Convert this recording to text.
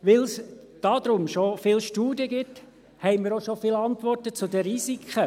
Da es darüber schon viele Studien gibt, haben wir auch schon viele Antworten zu den Risiken.